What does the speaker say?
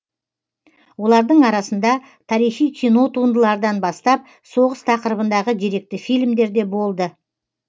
олардың арасында тарихи кино туындылардан бастап соғыс тақырыбындағы деректі фильмдер де болды